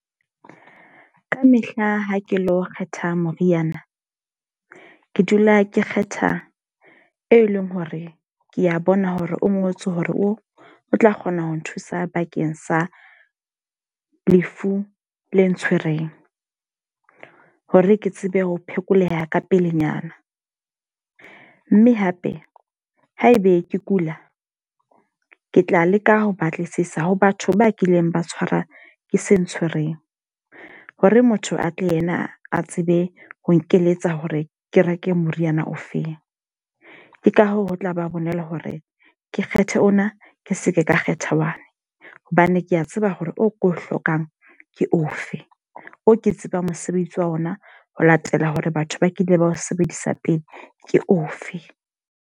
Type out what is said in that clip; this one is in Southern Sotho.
Ka mehla ha ke lo kgetha moriana. Ke dula ke kgetha e leng hore ke a bona hore o o ngotswe hore o tla kgona ho nthusa bakeng sa lefu le ntshwereng. Hore ke tsebe ho phekoleha ka pelenyana. Mme hape haebe ke kula, ke tla leka ho batlisisa ho batho ba kileng ba tshwara ke se ntshwereng. Ho re motho atle ena a tsebe ho nkeletsa hore ke reke moriana ofeng. Ke ka hoo ho tlaba bonolo hore ke kgethe ona ke seke ka kgetha one hobane ke a tseba hore o ko o hlokang ke ofe. O ke tsebang mosebetsi wa ona ho latela hore batho ba kile ba ho sebedisa pele ke ofe.